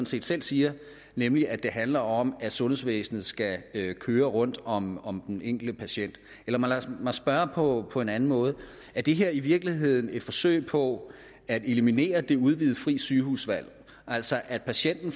set selv siger nemlig at det handler om at sundhedsvæsenet skal køre rundt om om den enkelte patient eller lad mig spørge på på en anden måde er det her i virkeligheden et forsøg på at eliminere det udvidede frie sygehusvalg altså at patienten